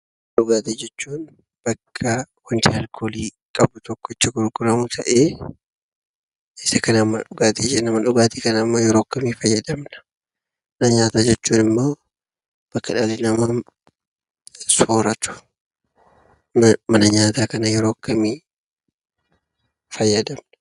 Dhugaatii jechuun bakka wanti alkoolii qabu itti gurguramu ta'ee, isa kanaan mana dhugaatii jenna. Mana dhugaatii kana yeroo akkamii fayyadamna? Mana nyaataa jechuun immoo bakka dhalli namaa sooratu. Mana nyaataa yeroo akkamii fayyadamna?